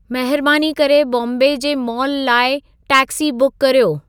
महिरबाने करे बॉम्बे जे मॉल लाइ टेक्सी बुकु कर्यो